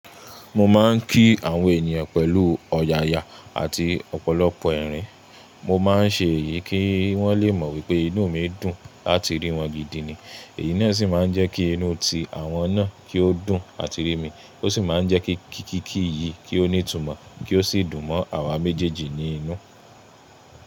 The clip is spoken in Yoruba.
Mo máa ń kí àwọn ènìyàn pẹ̀lú ọ̀yàyà àti ọ̀pọ̀lọpọ̀ erin. Mo máa ń ṣe èyí kí wọ́n lé mọ̀ wipé inú mi dùn láti rí wọn gidi ni. Èyí naa sì máa ń jẹ́ kí inú ti àwọn náà kí ó dùn àti rí mi, ó sì máa ń jẹ́ kí kíkíkí yìí kí ó ní ìtumọ̀ kí ó sì dùn mọ́ àwa méjèèjì ní inú.